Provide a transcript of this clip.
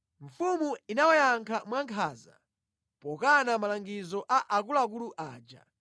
Mfumu inawayankha mwankhanza, pokana malangizo a akuluakulu aja.